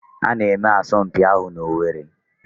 A na-eme asọmpi ahụ n'Owerri